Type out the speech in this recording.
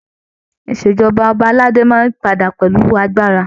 Ìṣèjọba ọba aládé máa padà pẹ̀lú agbára.